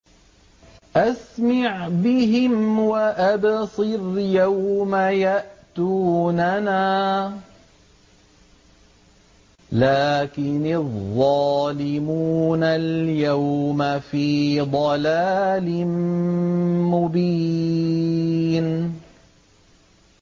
أَسْمِعْ بِهِمْ وَأَبْصِرْ يَوْمَ يَأْتُونَنَا ۖ لَٰكِنِ الظَّالِمُونَ الْيَوْمَ فِي ضَلَالٍ مُّبِينٍ